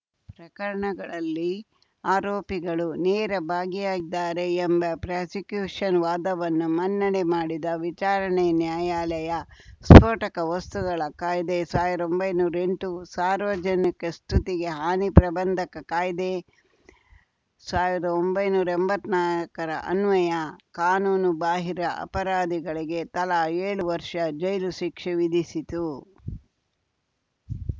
ಪ್ರಕರಣಗಳಲ್ಲಿ ಆರೋಪಿಗಳು ನೇರ ಭಾಗಿಯಾಗಿದ್ದಾರೆ ಎಂಬ ಪ್ರಾಸಿಕ್ಯೂಷನ್‌ ವಾದವನ್ನು ಮನ್ನಣೆ ಮಾಡಿದ್ದ ವಿಚಾರಣೆ ನ್ಯಾಯಾಲಯ ಸ್ಫೋಟಕ ವಸ್ತುಗಳ ಕಾಯ್ದೆಸಾವ್ರ್ದೊಂಬೈನೂರಾ ಎಂಟು ಸಾರ್ವಜನಿಕ ಸ್ತುತಿಗೆ ಹಾನಿ ಪ್ರತಿಬಂಧಕ ಕಾಯ್ದೆ ಸಾವ್ರ್ದೊಂಬೈನೂರಾ ಎಂಬತ್ನಾಕರ ಅನ್ವಯ ಕಾನೂನು ಬಾಹಿರ ಅಪರಾಧಿಗಳಿಗೆ ತಲಾ ಏಳು ವರ್ಷ ಜೈಲು ಶಿಕ್ಷೆ ವಿಧಿಸಿತು